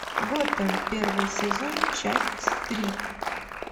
готэм первый сезон часть три